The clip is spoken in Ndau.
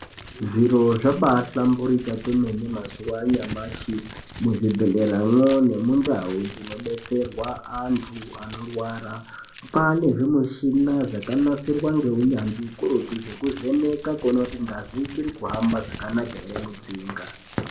Zviro zvabaa hlamburika kwemene mazuwa anyamashi muzvibhedhlera mwo nemundau dzinobetserwa anyu anorwara kwaane zvimushina zvakanasirwa ngeunyanzvi ukurutu zvekuvheneka kuona kuti ngazi ichiri kuhamba zvakanaka ere mutsinga.